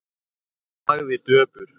Hún þagði döpur.